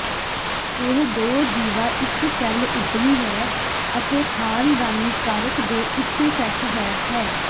ਇਹ ਦੋ ਜੀਵਾ ਇਕ ਸੈੱਲ ਉਭਰੀ ਹੈ ਅਤੇ ਖ਼ਾਨਦਾਨੀ ਕਾਰਕ ਦੇ ਉਸੇ ਸੈੱਟ ਹੈ ਹੈ